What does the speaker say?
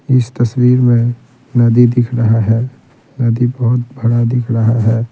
इस तस्वीर में नदी दिख रहा है नदी बहुत बड़ा दिख रहा है।